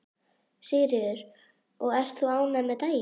Sigríður: Og ert þú ánægð með daginn?